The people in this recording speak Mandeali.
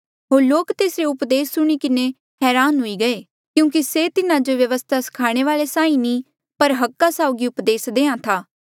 होर लोक तेसरे उपदेस सुणी किन्हें हरान हुई गये क्यूंकि से तिन्हा जो व्यवस्था स्खाणे वाल्ऐ साहीं नी पर अधिकारा साउगी उपदेस देहां था